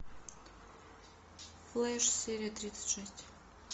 флэш серия тридцать шесть